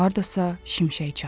Hardasa şimşək çaxdı.